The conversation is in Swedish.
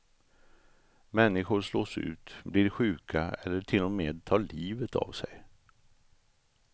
Människor slås ut, blir sjuka eller till och med tar livet av sig.